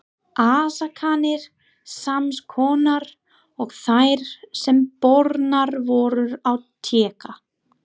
Ásakanir sams konar og þær, sem bornar voru á Tékka.